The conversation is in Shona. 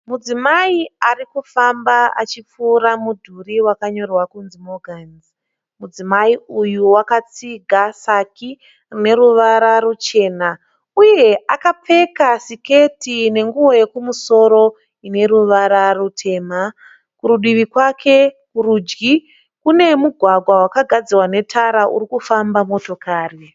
Mudzimai arikufamba achipfuura mudhuri wakanyorwa kunzi "Morgans". Mudzimai uyu wakatsiga saki rine ruvara ruchena uye akapfeka siketi nenguwo yekumusoro ine ruvara rutema. Kurudivi kwake kurudyi kune mugwagwa wakagadzirwa netara uru kufamba motokari.